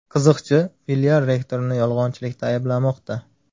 Qiziqchi filial rektorini yolg‘onchilikda ayblamoqda.